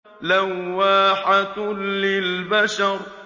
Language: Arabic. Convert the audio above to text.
لَوَّاحَةٌ لِّلْبَشَرِ